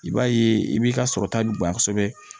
I b'a ye i b'i ka sɔrɔ ta bonya kosɛbɛ